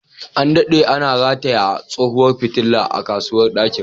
An dade ana rataye tsohuwar fitilar a kusurwar dakin.